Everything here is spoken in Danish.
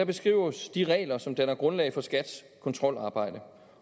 beskrives de regler som danner grundlag for skats kontrolarbejde